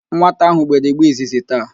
Nwata ahụ gbere igbe izizi taa